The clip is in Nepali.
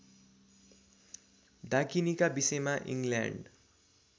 डाकिनीका विषयमा इङ्ल्यान्ड